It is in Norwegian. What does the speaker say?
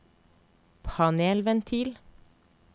panelventil